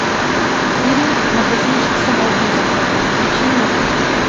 фильм магазинчик самоубийств включи мне